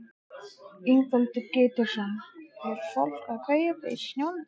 Ingveldur Geirsdóttir: Er fólk að kaupa ís í snjónum?